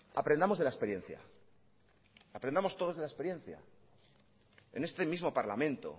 aprendamos de la experiencia aprendamos todos de la experiencia en este mismo parlamento